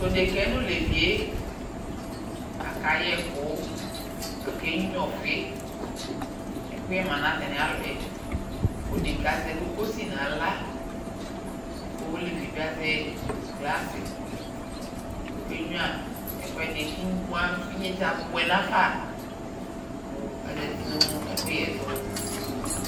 t'odeka yɛ n'olevi yɛ aka yɛ ɛkò ake nyua ɔfi ɛkòyɛ ma n'atami alɔ yɛ k'odeka yɛ azɛ kokosi n'ala k'olevi yɛ bi azɛ glas k'oke nyua ɛkò ɛdi k'imu avɛ inyese aboɛ nafa kò azati no ɛkòyɛ to